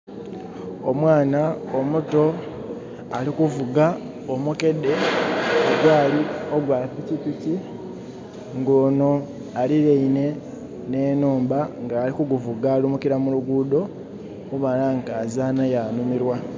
Omwana omuto ali kuvuga omukedde ogwaali ogwa pikipiki. Nga onho aliraine ne nhumba nga ali kuguvuga ali lumukila mu luguudo, okubona nga azaanha yanumirwa.